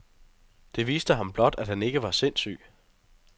Det viste ham blot, at han ikke var sindsyg.